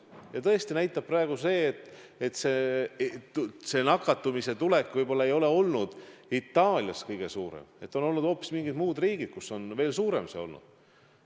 Ja tõesti praegu me teame, et Itaaliast polegi ehk kõige suurem oht lähtunud, on olnud hoopis mingid muud riigid, kus see oht on veel suurem olnud.